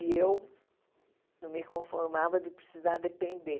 E eu não me conformava de precisar depender.